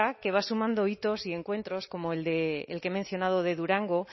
que va sumando hitos y encuentros como el que he mencionado de durango